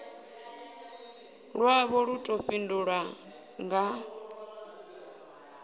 lwavho lu ḓo fhindulwa nga